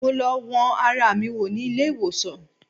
Mo lọ wọn ara mi wò ní ilé-ìwòsàn